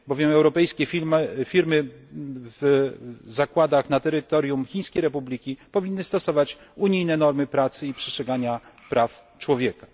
Albowiem europejskie firmy w zakładach na terytorium Chińskiej Republiki Ludowej powinny stosować unijne normy pracy i przestrzegania praw człowieka.